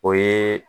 O ye